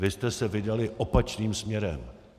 Vy jste se vydali opačným směrem.